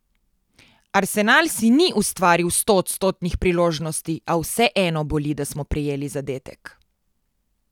Arsenal si ni ustvaril stoodstotnih priložnosti, a vseeno boli, da smo prejeli zadetek.